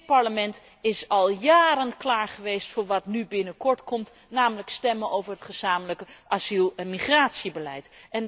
Dit Parlement is al jaren klaar geweest voor wat nu binnenkort komt, namelijk stemmen over het gezamenlijke asiel en migratiebeleid.